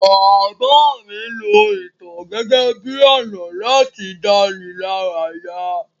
Bàbá mí lo ìtàn gẹ́gẹ́ bi ọ̀nà láti dánilaraya